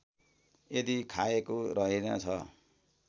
यदि खाएको रहेनछ